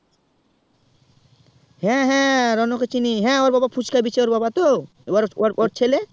হ্যাঁ হ্যাঁ রনো কে চিনি হ্যাঁ ওর বাবা ফুচকা বিছে ওর বাবা তো না না ওর ছেলে